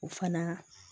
O fana